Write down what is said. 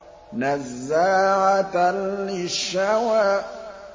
نَزَّاعَةً لِّلشَّوَىٰ